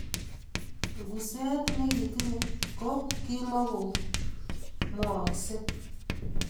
Nguset ne kitinyei ko kimukomwooksei